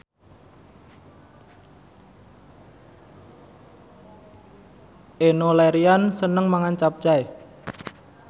Enno Lerian seneng mangan capcay